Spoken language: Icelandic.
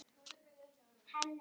Pabbi gerði ekkert svona.